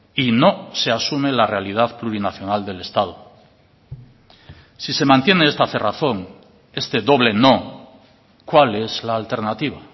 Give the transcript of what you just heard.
y no se asume la realidad plurinacional del estado si se mantiene esta cerrazón este doble no cuál es la alternativa